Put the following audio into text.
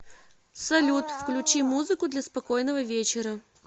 салют включи музыку для спокойного вечера